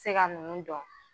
Se ga nunnu dɔn